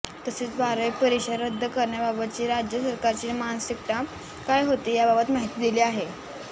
तसेच बारावी परीक्षा रद्द करण्याबाबतची राज्य सरकारची मानसिकता काय होती याबाबत माहिती दिली आहे